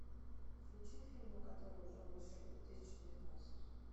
включи фильмы которые уже вышли две тысячи девятнадцать